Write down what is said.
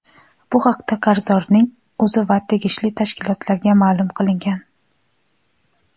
bu haqida qarzdorning o‘zi va tegishli tashkilotlarga ma’lum qilingan.